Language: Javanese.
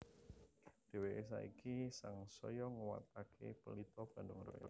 Dheweke saiki sangsaya nguwatake Pelita Bandung Raya